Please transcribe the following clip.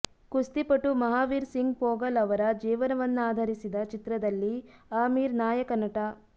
ಕುಸ್ತಿಪಟು ಮಹಾವೀರ್ ಸಿಂಗ್ ಪೋಗಲ್ ಅವರ ಜೀವನವನ್ನಾಧರಿಸಿದ ಚಿತ್ರದಲ್ಲಿ ಆಮಿರ್ ನಾಯಕನಟ